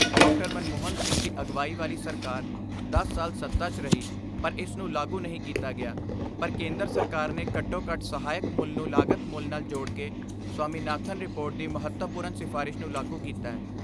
ਮਨਮੋਹਨ ਸਿੰਘ ਦੀ ਅਗਵਾਈ ਵਾਲੀ ਸਰਕਾਰ ਦਸ ਸਾਲ ਸੱਤਾ 'ਚ ਰਹੀ ਪਰ ਇਸ ਨੂੰ ਲਾਗੂ ਨਹੀਂ ਕੀਤਾ ਗਿਆ, ਪਰ ਕੇਂਦਰ ਸਰਕਾਰ ਨੇ ਘੱਟੋ ਘੱਟ ਸਹਾਇਕ ਮੁੱਲ ਨੂੰ ਲਾਗਤ ਮੁੱਲ ਨਾਲ ਜੋੜਕੇ ਸਵਾਮੀਨਾਥਨ ਰਿਪੋਰਟ ਦੀ ਮਹੱਤਵਪੂਰਨ ਸਿਫਾਰਿਸ਼ ਨੂੰ ਲਾਗੂ ਕੀਤੈ।